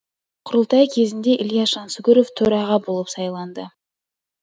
құрылтай кезінде ілияс жансүгіров төраға болып сайланды